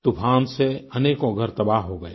तूफ़ान से अनेकों घर तबाह हो गए